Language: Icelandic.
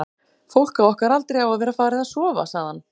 fólk á okkar aldri á að vera farið að sofa, sagði hann.